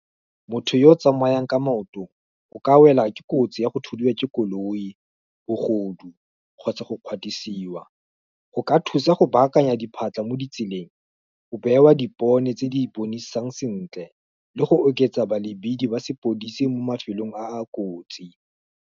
Motho yo o tsamayang ka maoto, o ka wela ke kotsi ya go thudiwa ke koloi, bogodu, kgotsa go kgwatisiwa, go ka thusa go baakanya diphatlha mo ditseleng, o bewa dipone, tse di bonesang sentle, le go oketsa balebidi ba sepodisi mo mafelong a a kotsi.